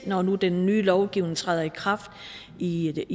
når nu den nye lovgivning træder i kraft i